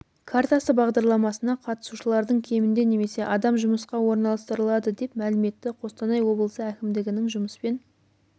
картасы бағдарламасына қатысушылардың кемінде немесе адам жұмысқа орналастырылады деп мәлім етті қостанай облысы әкімдігінің жұмыспен